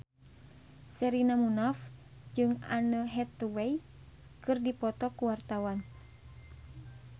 Sherina Munaf jeung Anne Hathaway keur dipoto ku wartawan